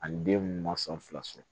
Ani den mun ma sɔn fila sɔrɔ